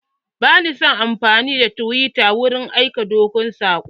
Ba na son amfani da tiwita wurin aika dogon saƙo.